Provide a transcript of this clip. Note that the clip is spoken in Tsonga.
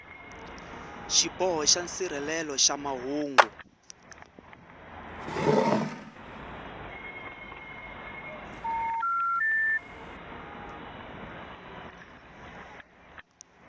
xiboho xa nsirhelelo xa mahungu